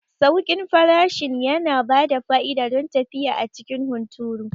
Sauƙin farashin yana bada fa'ida don tafiya a cikin hunturu.